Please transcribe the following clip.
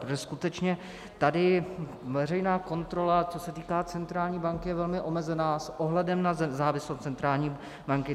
Protože skutečně tady veřejná kontrola, co se týká centrální banky, je velmi omezena s ohledem na nezávislost centrální banky.